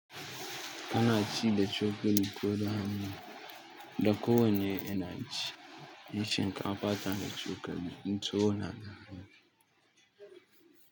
Ana ci da cokali ko da hannu, da kowanne yana ci, yin shinkafa ta da cokali inconaka.